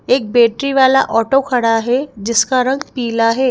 एक बैटरी वाला ऑटो खड़ा है जिसका रंग पीला है।